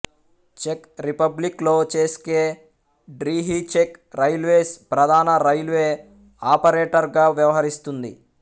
check రిపబ్లిక్లో చెస్కే డ్రిహీ చెక్ రైల్వేస్ ప్రధాన రైల్వే ఆపరేటర్గా వ్యవహరిస్తుంది